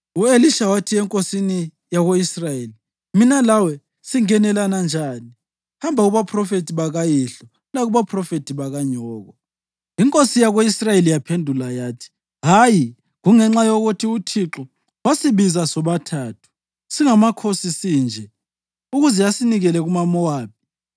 U-Elisha wathi enkosini yako-Israyeli, “Mina lawe singenelana njani? Hamba kubaphrofethi bakayihlo lakubaphrofethi bakanyoko.” Inkosi yako-Israyeli yaphendula yathi, “Hayi, kungenxa yokuthi uThixo wasibiza sobathathu singamakhosi sinje ukuze asinikele kumaMowabi.”